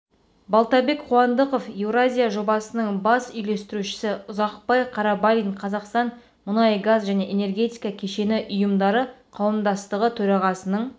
балтабек қуандықов еуразия жобасының бас үйлестірушісі ұзақбай қарабалин қазақстан мұнай-газ және энергетика кешені ұйымдары қауымдастығы төрағасының